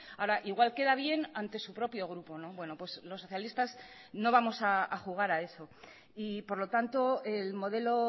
ahora igual queda bien ante su propio grupo los socialistas no vamos a jugar a eso y por lo tanto el modelo